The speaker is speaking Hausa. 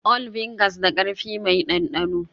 All vinegars da karfi m dandano